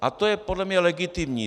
A to je podle mě legitimní.